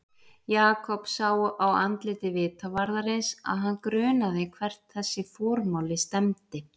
Jakob sá á andliti vitavarðarins að hann grunaði hvert þessi formáli stefndi.